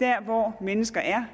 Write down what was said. der hvor mennesker er